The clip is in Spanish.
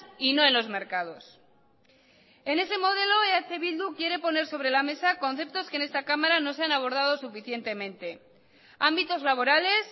y no en los mercados en ese modelo eh bildu quiere poner sobre la mesa conceptos que en esta cámara no se han abordado suficientemente ámbitos laborales